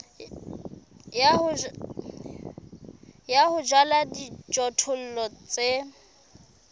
ya ho jala dijothollo tse